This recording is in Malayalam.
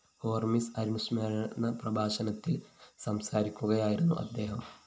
ഹോര്‍മിസ് അനുസ്മരണ പ്രഭാഷണത്തില്‍ സംസാരിക്കുകയായിരുന്നു അദ്ദേഹം